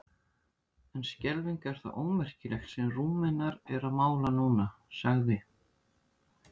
En skelfing er það ómerkilegt sem Rúmenar eru að mála núna, sagði